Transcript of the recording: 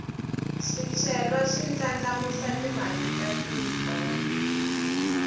swicelwa swi ndlandlamuxa timali ta tiko